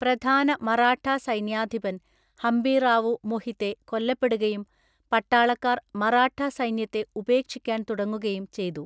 പ്രധാന മറാഠ സൈന്യാധിപന്‍ ഹംബീറാവു മൊഹിതെ കൊല്ലപ്പെടുകയും പട്ടാളക്കാര്‍ മറാഠാ സൈന്യത്തെ ഉപേക്ഷിക്കാൻ തുടങ്ങുകയും ചെയ്തു.